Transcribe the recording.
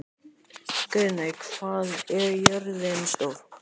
Guðmey, hvað er jörðin stór?